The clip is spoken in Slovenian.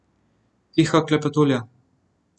Tiha klepetulja.